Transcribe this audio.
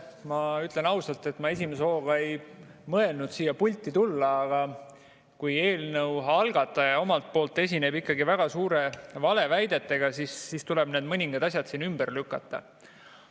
Ma ütlen ausalt, et ma esimese hooga ei mõelnud siia pulti tulla, aga kui eelnõu algataja omalt poolt esineb ikkagi väga suurte valeväidetega, siis tuleb need mõningad asjad siin ümber lükata.